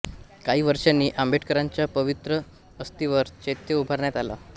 काही वर्षांनी आंबेडकरांच्या पवित्र अस्थीवर चैत्य उभारण्यात आला